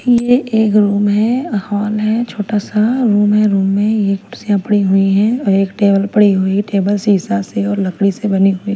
ये एक रूम है हॉल है छोटा सा रूम है रूम में ये कुर्सियाँ पड़ी हुई हैं और एक टेबल पड़ी हुई टेबल शीशा से और लकड़ी से बनी हुई --